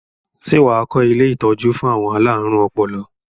Ṣé wà á kọ́ ilé-ìtọ́jú fún àwọn alárùn ọpọlọ?